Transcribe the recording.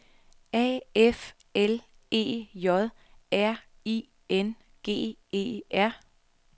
A F L E J R I N G E R